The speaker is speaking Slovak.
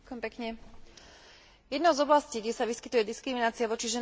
Jednou z oblastí, kde sa vyskytuje diskriminácia voči ženám, je určite trh práce.